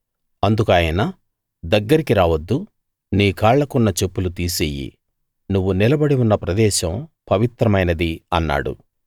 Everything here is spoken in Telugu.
అందుకు ఆయన దగ్గరికి రావద్దు నీ కాళ్ళకున్న చెప్పులు తీసెయ్యి నువ్వు నిలబడి ఉన్న ప్రదేశం పవిత్రమైనది అన్నాడు